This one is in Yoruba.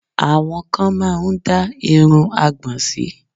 Àwọn kan máá ń dá irun àgbọn sí